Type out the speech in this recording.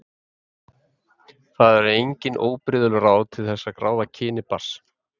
Það eru engin óbrigðul ráð til þess að ráða kyni barns.